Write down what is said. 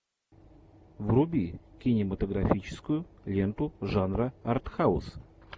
вруби кинематографическую ленту жанра артхаус